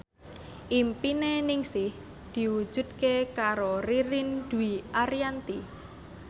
impine Ningsih diwujudke karo Ririn Dwi Ariyanti